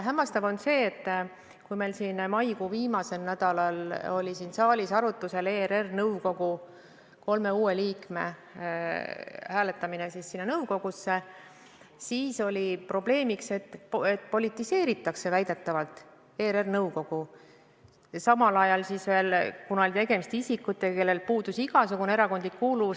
Hämmastav on see, et kui meil maikuu viimasel nädalal oli siin saalis arutlusel ERR-i nõukogu kolme uue liikme hääletamine, siis väideti, et ERR-i nõukogu politiseeritakse, kuigi tegemist oli isikutega, kellel puudus igasugune erakondlik kuuluvus.